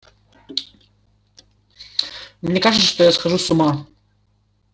мне кажется что я схожу с ума